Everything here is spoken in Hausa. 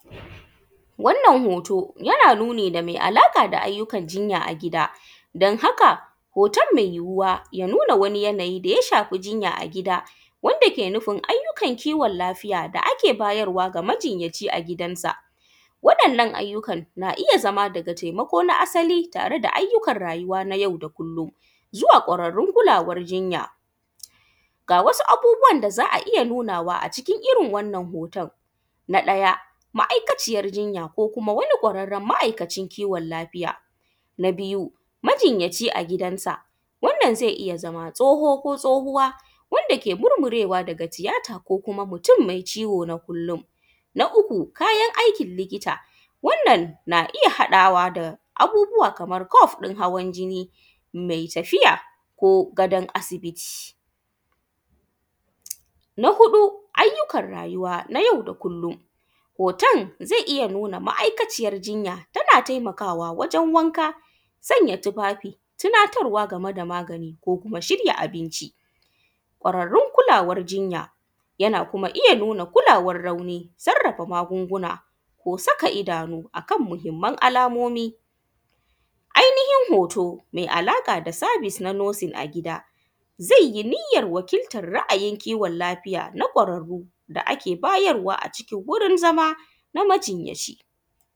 Wannan hoto yana nuni da me alaƙa da ayyukan jinya a gida dan haka hoton me yuyuwa ya nuna wani yanayi me alaƙa da wanda ke nufin ayyukan ciwon lafiya wanda ake bayar wa majinyaci a gidansa, wannan ayyukan na iya zama daga taimako na asali daga ayyukan rayuwa na yau da kullon zuwa ƙwararrun kulawan jinya ga wasu abubuwan da za a iya nunawa a cikin irin wannan hoton. Na ɗaya ma’aikaciyan jinya ko wani kwararren ma’ikacin kiwon lafiyta. Na biyu majinyaci a gidansa, wannan zai iya zama tsoho ko tsohowa wanda ke murmurewa daga tiyata ko kuma mutum mai ciwo na kullon. Na uku kayan aikin likita wannan na iya haɗawa da abubuwa kaman kuf ɗin hawan jini me tafiya ko gadan asibiti. Na huɗu ayyukan rayuwa na yau da kullon, hoton zai iya nuna ma’ikaciyan jinya tana taimakawa wajen wanka, sanya tufafi, tunatarwa game da magani da kuma shirya abinci. Kwararrun kulawan jinya yana kuma iya kulawan nauyi, sarrafa magunguna, ko saka idano akan muhinman alamomi, ainihin hoto me alaƙa da service na nursing a gida zai yi niyyan waƙiltan ra’ayin kiwon lafiya na kwararru da ake bayarwa a wurin zama na majinyaci.